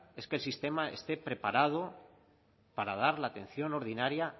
es que el sistema esté preparado para dar la atención ordinaria